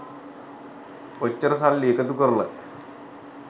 ඔච්චර සල්ලි එකතු කරලත්